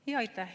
Aitäh!